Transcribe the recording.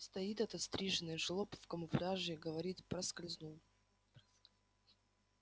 стоит этот стриженый жлоб в камуфляже и говорит проскользнул